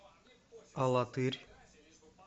алатырь